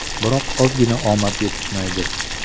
Biroq ozgina omad yetishmaydi.